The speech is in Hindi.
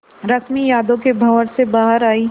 रश्मि यादों के भंवर से बाहर आई